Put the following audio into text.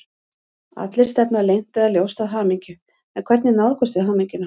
Allir stefna leynt eða ljóst að hamingju, en hvernig nálgumst við hamingjuna?